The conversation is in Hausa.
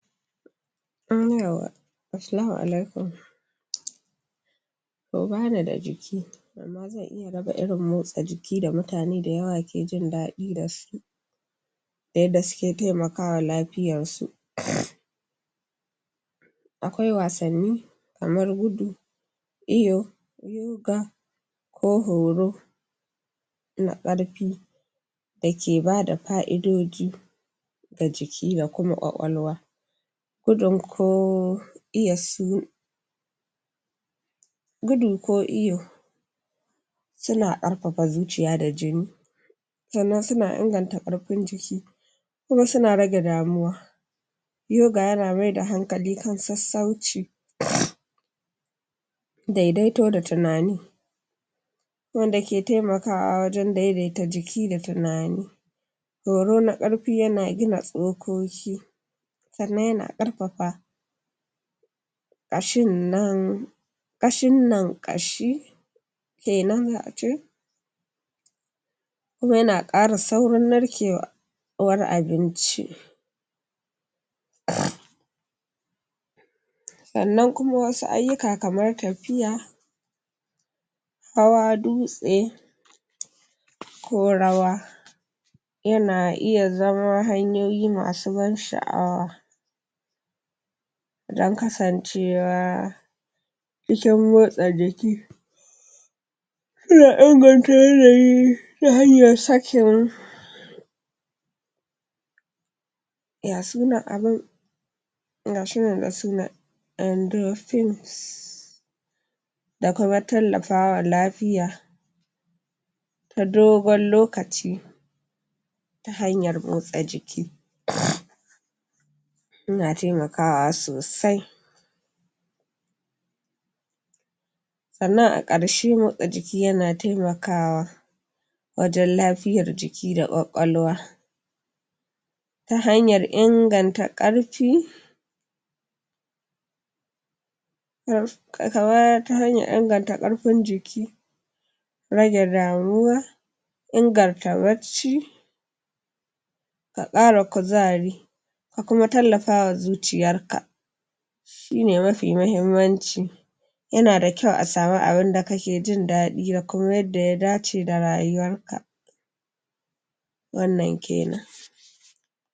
Assalamu Alaikum bada da jiki amma zan iya raba irin motsa jiki da mutane da yawa ke jin daɗi da su. yadda suke taimaka ma lafiyan su akwai wasanni kamar gudu iyo, guga ko horo na ƙarfi da ke bada fa'idodi ga jiki da kuma kwakwalwa gudun ko iya su gudu ko suna ƙarfafa zuciya da jini sannan suna inganta ƙarfin jiki kuma su rage damuwa yana maida hankali kan sassauci daidaito da tunani wanda ke taimakawa wajen daidaita jiki da tunani Horo na ƙarfi yana gina tsokoki sannan yana ƙarfafa ƙashinnan, ƙashinnan ƙashi kenan za a ce kuma yana ƙara saurin narkewan abinci sannan kuma wasu ayyuka kaman tafiya hawa dutse, ko rawa yana iya zama hanyoyi masu ban sha'awa don kasancewa cikin motsa jiki Yana inganta yanayi ta hanyar sakin ya sunan abin gashinan da suna da kuma tallafawa lafiya na dogon lokaci ta hanyar motsa jiki suna taimakawa sosai Sannan a ƙarshe motsa jiki na taimakawa wajen lafiyar jiki da kwakwalwa ta hanyar inganta ƙarfi kaman ta hanyar inganta ƙarfin jiki rage damuwa inganta bacci da ƙara kuzari ka kuma tallafa wa zuciyar ka shine mafi muhimmanci yanada kyau a samu abinda kake jin daɗi da kuma yanda ya dace da rayuwan ka wannan kenan